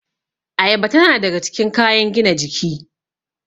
Ayaba tana daga cikin kayan gina jiki